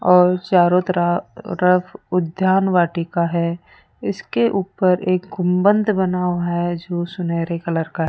और चारों तरफ उद्यान वाटिका है इसके ऊपर एक गुंबद बना हुआ है जो सुनहरे कलर का है।